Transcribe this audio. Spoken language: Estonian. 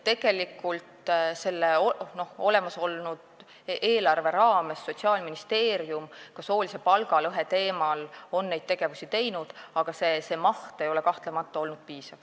Tegelikult on selle olemasoleva eelarve raames Sotsiaalministeerium ka soolise palgalõhe teemal neid asju teinud, aga see maht ei ole kahtlemata olnud piisav.